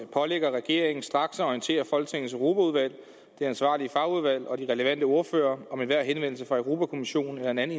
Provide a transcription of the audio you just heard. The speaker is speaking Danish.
pålægger regeringen straks at orientere folketingets europaudvalg det ansvarlige fagudvalg og de relevante ordførere om enhver henvendelse fra europa kommissionen eller en anden